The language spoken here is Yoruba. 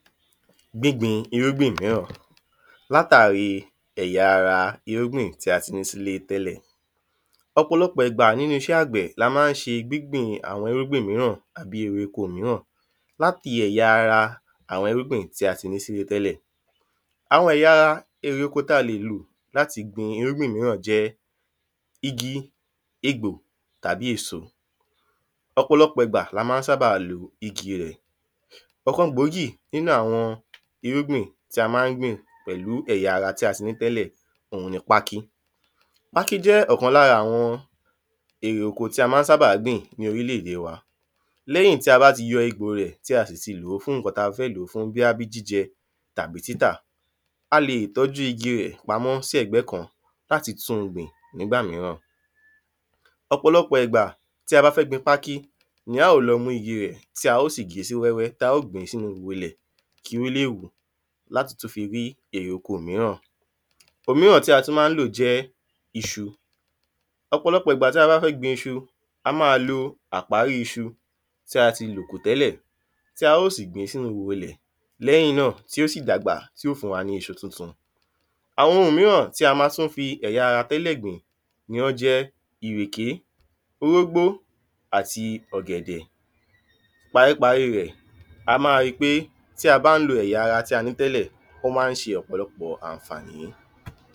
Gbígbìn irúgbìn ìmíràn lá tàriíì èyà ara irúgbìn ti a ti ní sílé tẹ́lẹ̀. ọ̀pọ̀lọpọ̀ ìgbà nínú iṣẹ́ àgbẹ̀ra la má n ṣe gbígbìn àwọn irúgbìn ìmíràn tàbí àwon ewéko ìmíràn láti èyà ara irúgbìn ti a ti ní sílé tẹ́lẹ̀. Àwọn èyà ara èrè oko tá lè lò láti gbin irúgbìn ìmi jẹ́ igi, egbò tàbí èso ọ̀pọ̀lọpọ̀ ìgbà lá ma ń sabà lo igi rẹ̀. ọkán gboọ̀ọ́gí nínu àwọn irúgbìn ti a má n gbìn pẹ̀lú èyà ara ti a ti ní sílé tẹ́lẹ̀ òun ní pákí. Pákí jẹ́ okán lára àwọn èrè tí a má n sábà gbin ni orílẹ̀ èdè wa. Lẹ́yìn tí a bá ti yọ egbò rẹ̀ tí a tì sì lòó fún ǹkan tí a fẹ́ lò fún jíjẹ tàbi títa, a lè tọ́jú igi rẹ̀ pámosí ẹ̀gbẹ́ kan láti tún gbìn nígbà mìíràn ọ̀pọ̀lọpọ̀ ìgbà tí a bá fẹ gbin pákí ní a o lọ́ mú igi rẹ̀ tí a o sì ge si wẹ́wẹ́, tí a o siì gbin sínu iwọ̀ ilẹ̀ kí o le wù látí tún fí rí èrè oko mìíràn òmíràn tí a tún ma lò jẹ́ iṣu. ọ̀pọ̀lọpọ̀ ìgbà tí a bá fẹ gbin iṣu a má lo àparí iṣu tih a ti lò kù tẹ́lẹ̀ tá o sìgbin sínu iwò ilẹ̀, lẹ́yìn náá tí o si dàgbà tí yó fún wa ní iṣu tun tun Àwọn òmíràn tí a má n fi ẹ̀yá ara tẹ́lẹ̀ gbìn o jẹ́ ìrèké, orógbó àti ọ̀gbẹ̀dẹ̀ Paríparí rẹ̀, a má ri pe tí a bá n lo ẹ̀ya ara tí a ní tẹ́lẹ̀ ó ma n ṣe ọ̀pọ̀lọpọ̀ àǹfàánì